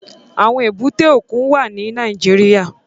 Àwọn èbúté òkun wà ní Nàìjíríà.